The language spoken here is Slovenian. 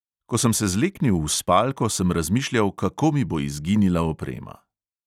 Ko sem se zleknil v spalko, sem razmišljal, kako mi bo izginila oprema.